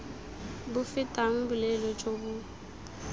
bo fetang boleele jo bo